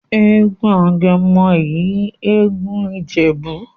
egún Agemo he egún ijebu'.